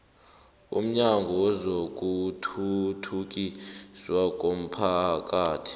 umnyango wezokuthuthukiswa komphakathi